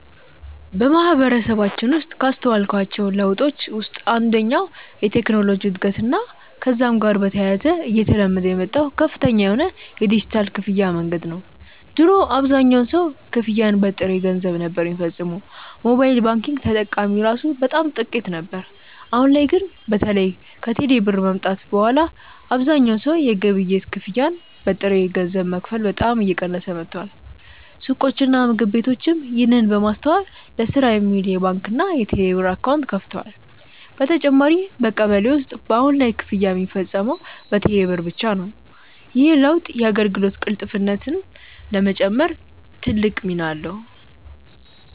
በማህበረሰባችን ውስጥ ካስተዋልኳቸው ለውጦች ውስጥ አንደኛው የቴክኖሎጂ እድገትና ከዛም ጋር በተያያዘ እየተለመደ የመጣው ከፍተኛ የሆነ የዲጂታል ክፍያ መንገድ ነው። ድሮ አብዛኛው ሰው ክፍያን በጥሬ ገንዘብ ነበር ሚፈጽመው፤ ሞባይል ባንኪንግ ተጠቃሚ እራሱ በጣም ጥቂት ነበር። አሁን ላይ ግን በተለይ ከቴሌ ብር መምጣት በኋላ አብዛኛው ሰው የግብይት ክፍያን በጥሬ ገንዘብ መክፈል በጣም እየቀነሰ መጥቷል። ሱቆችና ምግብ ቤቶችም ይህንን በማስተዋል ለስራ የሚውል የባንክና የቴሌብር አካውንት ከፍተዋል። በተጨማሪም በቀበሌ ውስጥ በአሁን ላይ ክፍያ ሚፈጸመው በቴሌ ብር ብቻ ነው። ይህ ለውጥ የአገልግሎት ቅልጥፍናን ለመጨመር ትልቅ ሚና አለው።